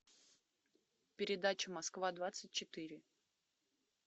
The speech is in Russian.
передачу москва двадцать четыре